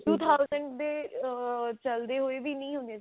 two thousand ਦੇ ah ਚੱਲਦੇ ਹੋਏ ਵੀ ਨਹੀ ਹੁੰਦੀਆਂ ਸੀ